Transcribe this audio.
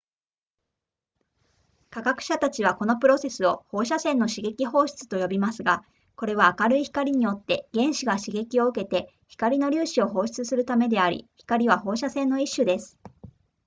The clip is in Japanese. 科学者たちはこのプロセスを放射線の刺激放出と呼びますがこれは明るい光によって原子が刺激を受けて光の粒子を放出するためであり光は放射線の一種です